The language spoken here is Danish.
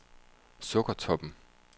Sukkertoppen